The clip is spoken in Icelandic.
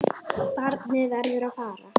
Barnið verður að fara.